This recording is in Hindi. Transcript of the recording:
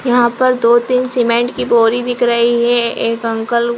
यहाँ पर दो-तीन सीमेंट की बोरी दिख रही है। एक अंकल --